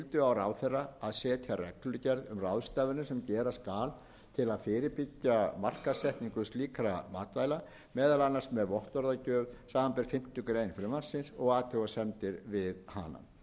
á ráðherra að setja reglugerð um ráðstafanir sem gera skal til að fyrirbyggja markaðssetningu slíkra matvæla meðal annars með vottorðagjöf samanber fimmtu grein frumvarpsins og athugasemdir við hana